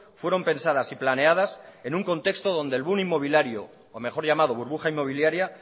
fueron pensadas y planeadas en un contexto donde el boom inmobiliario o mejor llamado burbuja inmobiliaria